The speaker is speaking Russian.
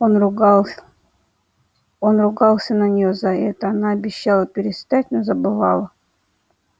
он ругался он ругался на нее за это она обещала перестать но забывала